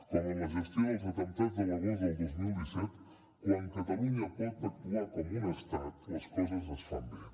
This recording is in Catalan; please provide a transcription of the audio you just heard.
com en la gestió dels atemptats de l’agost del dos mil disset quan catalunya pot actuar com un estat les coses es fan bé